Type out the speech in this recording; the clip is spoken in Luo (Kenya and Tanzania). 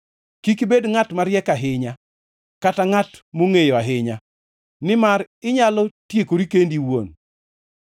Kik ibed ngʼat mariek ahinya kata ngʼat mongʼeyo ahinya, nimar inyalo tiekori kendi iwuon.